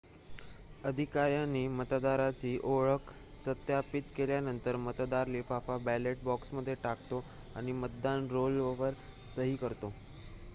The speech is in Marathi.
अधिकाऱ्यांनी मतदाराची ओळख सत्यापित केल्यानंतर मतदार लिफाफा बॅलेट बॉक्समध्ये टाकतो आणि मतदान रोलवर सही करतो